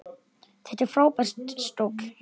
Þetta er frábær stóll.